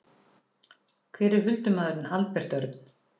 Hver er huldumaðurinn Albert Örn?